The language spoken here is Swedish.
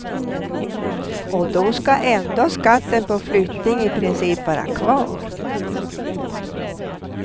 Och då ska ändå skatten på flyttning i princip vara kvar.